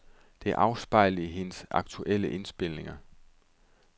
Det afspejles i hendes aktuelle indspilninger.